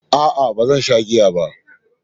A'a, ba zan sha giya ba.